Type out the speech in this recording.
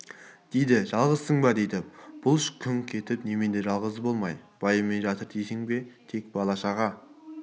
дейді жалғызсың ба дейді бұлыш күңк етіп немене жалғыз болмай байыммен жатыр дейсің бе тек бала-шаға